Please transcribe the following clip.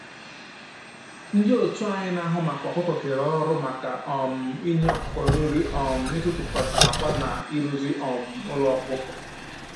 Ndị otu anyị na-ahụ maka ọkụkọ kere ọrụ maka um inye ọkụkọ nri, um ịtụtụkọta akwa na ịrụzi um ụlọ ọkụkọ